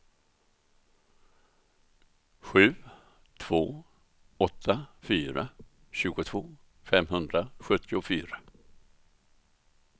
sju två åtta fyra tjugotvå femhundrasjuttiofyra